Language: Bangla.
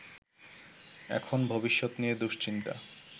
এখন ভবিষ্যত নিয়ে দুশ্চিন্তা